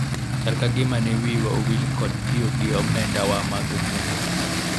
chal ka gima ne wiwa owil kod tiyo gi omenda wa mag kungo